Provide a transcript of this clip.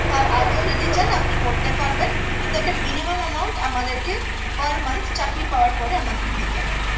তার আগেও যদি চান আপনি করতে পারবেন কিন্তু একটা minimum amount আমাদেরকে per month চাকরি পাওয়ার পরে আমাদের দিতে হবে